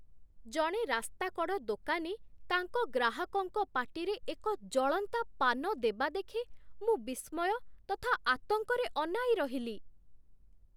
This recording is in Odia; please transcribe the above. ଜଣେ ରାସ୍ତାକଡ଼ ଦୋକାନୀ ତାଙ୍କ ଗ୍ରାହକଙ୍କ ପାଟିରେ ଏକ ଜଳନ୍ତା ପାନ ଦେବା ଦେଖି ମୁଁ ବିସ୍ମୟ ତଥା ଆତଙ୍କରେ ଅନାଇରହିଲି।